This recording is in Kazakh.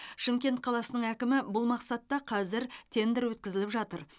шымкент қаласының әкімі бұл мақсатта қазір тендер өткізіліп жатыр